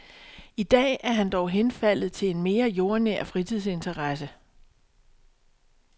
I dag er han dog henfaldet til en mere jordnær fritidsinteresse.